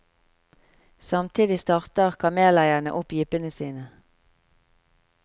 Samtidig starter kameleierne opp jeepene sine.